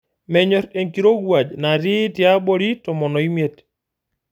Menyor enkirowuaj natii tiabori tomon omiet.